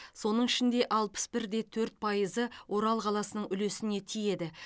соның ішінде алпыс бір де төрт пайызы орал қаласының үлесіне тиеді